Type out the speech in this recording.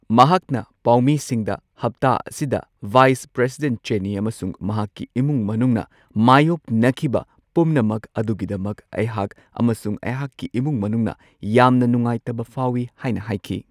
ꯃꯍꯥꯛꯅ ꯄꯥꯎꯃꯤꯁꯤꯡꯗ ꯍꯞꯇꯥ ꯑꯁꯤꯗ ꯚꯥꯏꯁ ꯄ꯭ꯔꯦꯁꯤꯗꯦꯟꯠ ꯆꯦꯅꯤ ꯑꯃꯁꯨꯡ ꯃꯍꯥꯛꯀꯤ ꯏꯃꯨꯡ ꯃꯅꯨꯡꯅ ꯃꯥꯢꯌꯣꯛꯅꯈꯤꯕ ꯄꯨꯝꯅꯃꯛ ꯑꯗꯨꯒꯤꯗꯃꯛ ꯑꯩꯍꯥꯛ ꯑꯃꯁꯨꯡ ꯑꯩꯍꯥꯛꯀꯤ ꯏꯃꯨꯡ ꯃꯅꯨꯡꯅ ꯌꯥꯝꯅ ꯅꯨꯡꯉꯥꯏꯇꯕ ꯐꯥꯎꯋꯤ ꯍꯥꯏꯅ ꯍꯥꯏꯈꯤ꯫